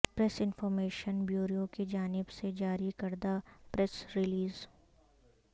press information bureau کی جانب سے جاری کردہ پریس ریلیز